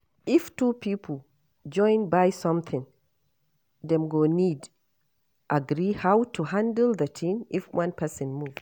If two pipo join buy something dem go need agree how to handle the thing if one person move